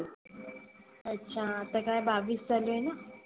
अच्छा आता काय बाविस चालू आहेना.